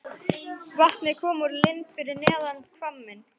Vatnið kom úr lind fyrir neðan hvamminn.